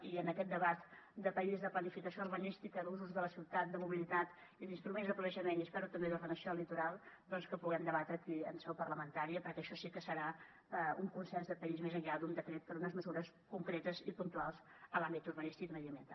i en aquest debat de país de planificació urbanística d’usos de la ciutat de mobilitat i d’instruments de planejament i espero també d’ordenació del litoral doncs que puguem debatre aquí en seu parlamentària perquè això sí que serà un consens de país més enllà d’un decret per unes mesures concretes i puntuals en l’àmbit urbanístic i mediambiental